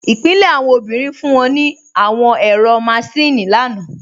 Ipilẹ̀ awọn obìnrin fún wọn ní àwọn ẹ̀rọ máṣìnnì lánà